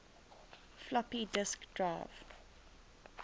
floppy disk drive